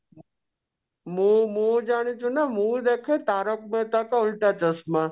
ମୁଁ ମୁଁ ଜାଣିଛି ନା ମୁଁ ଦେଖେ ଓଲଟା ଚଷମା